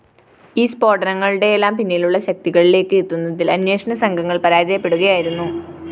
ഈ സ്‌ഫോടനങ്ങളുടെയെല്ലാം പിന്നിലുള്ള ശക്തികളിലേക്ക് എത്തുന്നതില്‍ അന്വേഷണസംഘങ്ങള്‍ പരാജയപ്പെടുകയായിരുന്നു